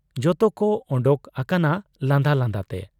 ᱡᱚᱛᱚᱠᱚ ᱚᱰᱚᱠ ᱟᱠᱟᱱᱟ ᱞᱟᱸᱫᱟ ᱞᱟᱸᱫᱟ ᱛᱮ ᱾